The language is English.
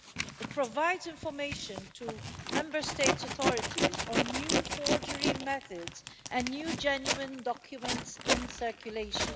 It provides information to Member States' authorities on new forgery methods and new genuine documents in circulation.